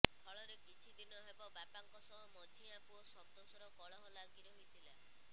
ଫଳରେ କିଛିଦିନ ହେବ ବାପାଙ୍କ ସହ ମଝିଆ ପୁଅ ସନ୍ତୋଷର କଳହ ଲାଗିରହିଥିଲା